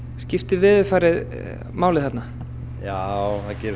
skiptir veðurfarið máli þarna já það gerir